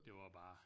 Det var bare